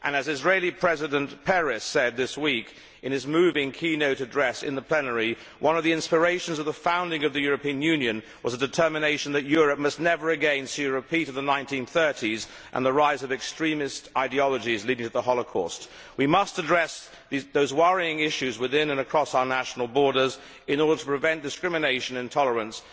As Israeli President Peres said this week in his moving keynote address in plenary, one of the inspirations of the founding of the European Union was the determination that Europe must never again see a repeat of the 1930s and the rise of the extremist ideologies that led to the Holocaust. We must address those worrying issues within and across our national borders in order to prevent discrimination and intolerance.